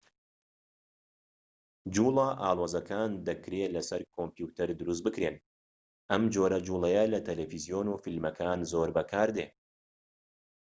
جووڵە ئاڵۆزەکان دەکرێت لە سەر کۆمپیۆتەر دروست بکرێن و ئەم جۆرە جووڵەیە لە تەلەفزیۆن و فیلمەکان زۆر بەکاردێت